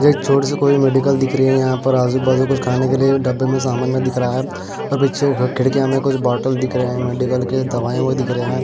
एक छोटी सी कोई मेडिकल दिख रही है यहाँ पर आजूबाजू कुछ खाने के लिए डब्बे में सामान में दिख रहा है और पीछे खिड़कियाँ में कुछ बोटल दिख रहे हैं मेडिकल के दवाई आवई दिख रहे हैं।